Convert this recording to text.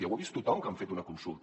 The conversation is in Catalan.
ho ha vist tothom que han fet una consulta